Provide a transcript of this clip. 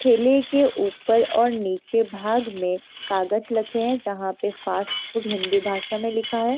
ठेले के ऊपर और नीचे भाग में कागज लखे है जहाँ पे फ़ास्ट फ़ूड हिंदी भाषा में लिखा है ।